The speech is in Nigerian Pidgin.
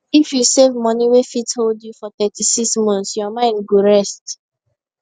if you save money wey fit hold you for 36 months your mind go rest